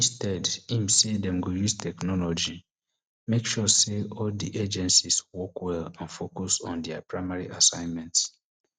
instead im say dem go use technology make sure say all di agencies work well and focus on dia primary assignment